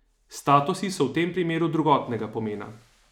Statusi so v tem primeru drugotnega pomena.